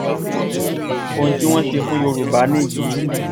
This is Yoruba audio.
ohun tí wọ́n ṣe fún yorùbá nìyí